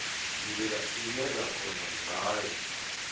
ndila ine ra kona ngayo